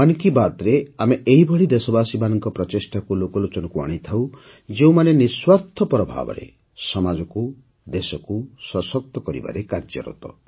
ମନ୍ କି ବାତ୍ରେ ଆମେ ଏହିଭଳି ଦେଶବାସୀମାନଙ୍କ ପ୍ରଚେଷ୍ଟାକୁ ଲୋକଲୋଚନକୁ ଆଣିଥାଉ ଯେଉଁମାନେ ନିଃସ୍ୱାର୍ଥ ଭାବରେ ସମାଜକୁ ଦେଶକୁ ସଶକ୍ତ କରିବାରେ କାର୍ଯ୍ୟରତ